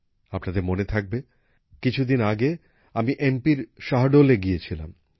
আপনাদের মনে থাকবে কিছু দিন আগে আমি মধ্যপ্রদেশের শহডোলে গিয়েছিলাম